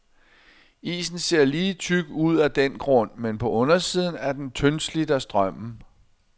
Isen ser lige tyk ud af den grund, men på undersiden er den tyndslidt af strømmen.